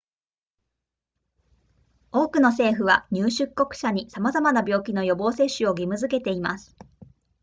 多くの政府は入出国者に様々な病気の予防接種を義務づけています